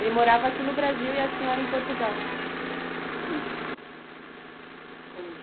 Ele morava aqui no Brasil e a senhora em Portugal? Uhum.